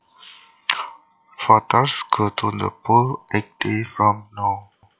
Voters go to the polls eight days from now